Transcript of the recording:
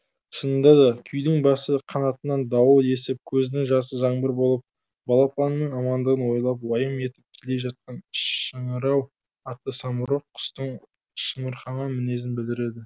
шынында да күйдің басы қанатынан дауыл есіп көзінің жасы жаңбыр болып балапанының амандығын ойлап уайым етіп келе жатқан шыңырау атты самұрық құстың шамырқанған мінезін білдіреді